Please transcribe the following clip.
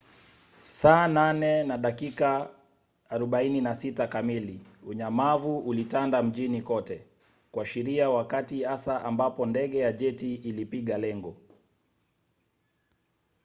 saa 8:46 kamili unyamavu ulitanda mjini kote kuashiria wakati hasa ambapo ndege ya jeti ilipiga lengo